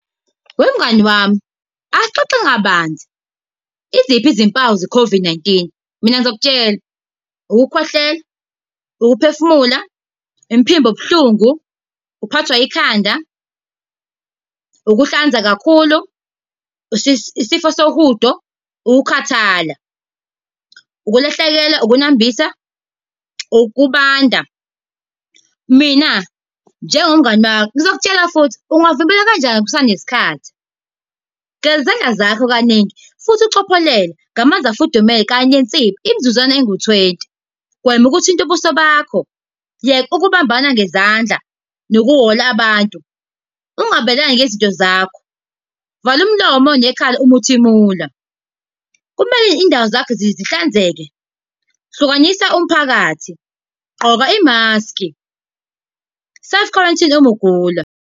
Wemngani wami, asixoxe kabanzi. Iziphi izimpawu ze-COVID-19? Mina ngizokutshela, ukukhwehlela, ukuphefumula, umphimbo obuhlungu, ukuphathwa ikhanda, ukuhlanza kakhulu, isifo sohudo, ukukhathala. Ukulahlekelwa, ukunambitha, ukubanda. Mina njengomngani wakho, ngizokutshela futhi, ungavimbela kanjani kusanesikhathi? Geza izandla zakho kaningi, futhi ucophelele ngamanzi afudumele, kanye nensipho, imzuzwana engu-twenty. Gwema ukuthinta ubuso bakho. Yeka ukubambana ngezandla nokuwola abantu. Ungabelani ngezinto zakho. Vala umlomo nekhala uma uthimula. Kumele iy'ndawo zakho zihlanzeke. Hlukanisa umphakathi. Gqoka imaski. Self quarantine, uma ugula.